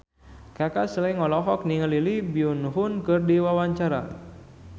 Kaka Slank olohok ningali Lee Byung Hun keur diwawancara